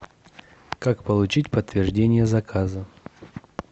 как получить подтверждение заказа